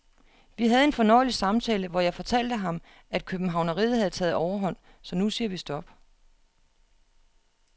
Vi havde en fornøjelig samtale, hvor jeg fortalte ham, at københavneriet havde taget overhånd, så nu siger vi stop.